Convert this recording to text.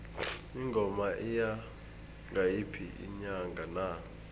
ingoma iya ngayiphi inyanga na